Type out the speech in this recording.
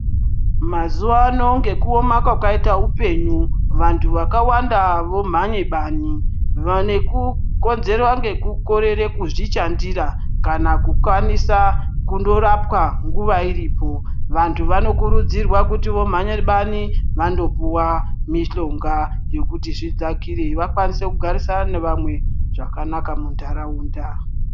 Mazuvano ngekuoma kwakaite upenyu vantu vakawanda vomhanye bani nekukonzerwa ngekukorere kuzvishandira kana kukwanisa kundorapwa nguva iripo vantu vanokurudzirwa kuti vomhanye bani vandopuwa mishonga yekuti zvidzakire vakwanise kugarisana nevamweni zvakanaka muntaraunda.